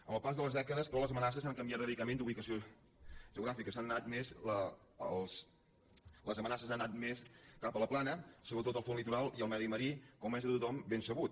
amb el pas de les dècades però les amenaces han canviat radicalment d’ubicació geogràfica les amenaces han anat més cap a la plana sobretot al front litoral i al medi marí com és de tothom ben sabut